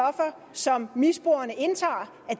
som misbrugerne indtager